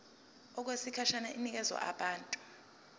okwesikhashana inikezwa abantu